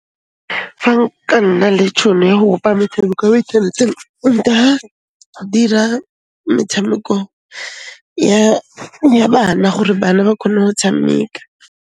Fa nka nna le tšhono ya go bopa metshameko mo inthaneteng, nka dira metshameko ya bana gore bana ba khone ho tshameka.